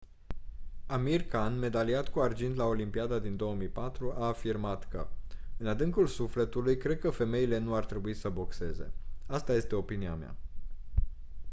amir khan medaliat cu argint la olimpiada din 2004 a afirmat că: «în adâncul sufletului cred că femeile nu ar trebui să boxeze. asta este opinia mea».